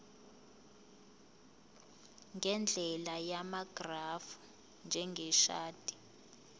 ngendlela yamagrafu njengeshadi